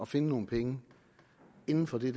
finde nogle penge inden for det